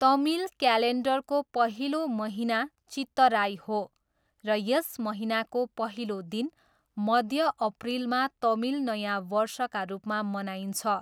तमिल क्यालेन्डरको पहिलो महिना चित्तराई हो र यस महिनाको पहिलो दिन, मध्य अप्रिलमा तमिल नयाँ वर्षका रूपमा मनाइन्छ।